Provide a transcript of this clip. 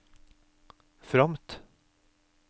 fromt